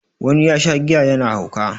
wani ya Sha giya yana hauka